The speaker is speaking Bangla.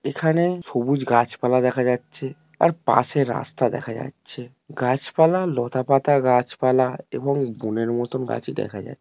এখানে সবুজ গাছপালা দেখা যাচ্ছে। আর পাশে রাস্তা দেখা যাচ্ছে। গাছপালা লতাপাতা গাছপালা এবং বোনের মতন গাছ ই দেখা যায়।